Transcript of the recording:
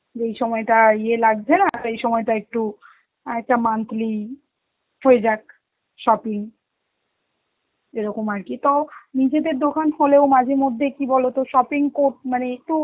যেই সময়টা ইয়ে লাগছে না সেই সময়টা একটু একটা monthly হয়ে যাক shopping এরকম আর কি, তো নিজেদের দোকান হলেও মাঝেমধ্যে কি বলতো shopping কর~ মানে একটু